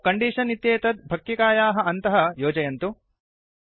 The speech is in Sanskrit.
आदौ कण्डीषन् इत्येतत् फक्किकायाः अन्तः योजयन्तु